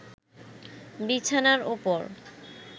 বিছানার ওপর